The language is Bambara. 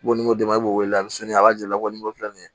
Wari min ko d'e ma i b'o wele a sini a b'a jɛ wa ni mɔgɔ fila ni